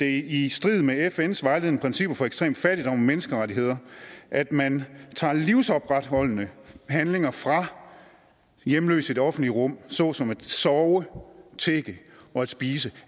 i strid med fns vejledende principper for ekstrem fattigdom og menneskerettigheder at man tager livsopretholdende handlinger fra hjemløse i det offentlige rum såsom at sove tigge og spise